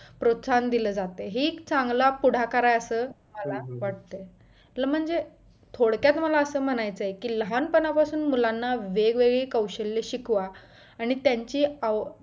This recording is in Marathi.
प्रोत्साहन दिला जातय ही एक चांगलं पुढाकार असं मला वाटतं आपलं म्हणजे थोडक्यात मला असं म्हणायचं आहे की लहानपणापासून मुलांना वेगवेगळी कौशल्य शिकवा आणि त्यांची आव